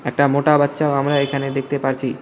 একটা মোটা বাচ্চাও আমরা এখানে দেখতে পারছি।